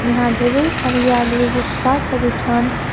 यहाँ धेरै हरियाली रूपातहरू छन्।